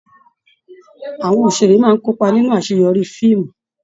Àwọn òṣèré máa n kópa nínú àṣeyọrí fíìmù.